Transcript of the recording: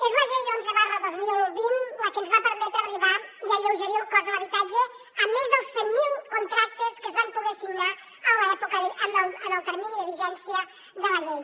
és la llei onze dos mil vint la que ens va permetre arribar i alleugerir el cost de l’habitatge en més dels cent mil contractes que es van poder signar en el termini de vigència de la llei